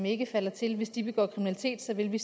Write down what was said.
ikke falder til hvis de begår kriminalitet vil vi